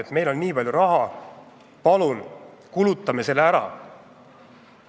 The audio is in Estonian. Kuna meil on nii palju raha, palun kulutame selle ära!